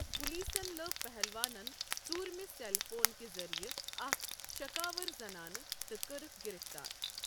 پولیسَن لٔب پہلوانن ژوٗرمہِ سیٚل فون کہِ ذٔریعہٕ اکھ شکاوار زنانہٕ تہٕ کٔرٕکھ گرفتار۔